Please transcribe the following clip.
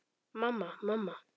Og ég verði frjáls.